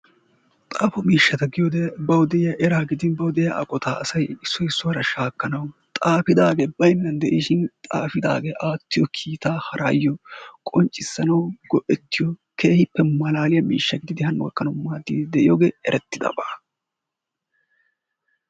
Xaafo miishshata giyode bawu diya eraa gidin bawu diya aqota asay issoy issuwara shakkanawu, xaafidaagee baynnan de'ishin xaafiddagee aatiyo kiitaa harayo qonccissanawu go'ettiyo keehippe malaaliya miishshaa gididi hano gakkanawu maaddiidi de'iyogee erettidabaa.